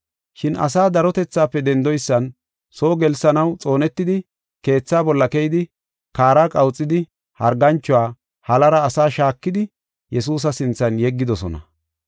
Shin asaa darotethaafe dendoysan soo gelsanaw xoonetidi keethaa bolla keyidi, kaara qawuxidi, harganchuwa halara asaa shaakidi Yesuusa sinthan yeggidosona.